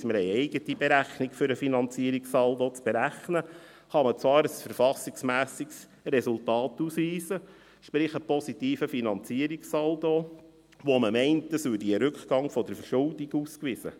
wir haben eine eigene Berechnung, um den Finanzierungssaldo zu berechnen – kann man zwar ein verfassungsmässiges Resultat ausweisen, sprich einen positiven Finanzierungssaldo, und man meint, es würde damit ein Rückgang der Verschuldung ausgewiesen.